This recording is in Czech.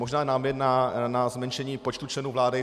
Možná námět na zmenšení počtu členů vlády.